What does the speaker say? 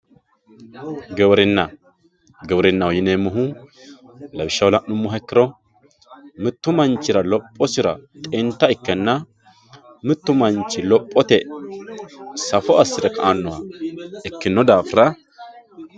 Giwirinna giwirinaho yineemohu lawishshaho lanimoha ikiro mittu manchira lophphosira xinta ikena mittu manchi lophote saffo asire ka`ano daafira.